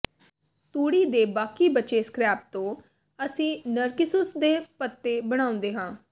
ਤੂੜੀ ਦੇ ਬਾਕੀ ਬਚੇ ਸਕ੍ਰੈਪ ਤੋਂ ਅਸੀਂ ਨਰਕਿਸੁਸ ਦੇ ਪੱਤੇ ਬਣਾਉਂਦੇ ਹਾਂ